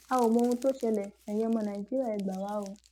a ò mohun tó ń ṣẹlẹ ẹyin ọmọ nàìjíríà ẹ gbà wá o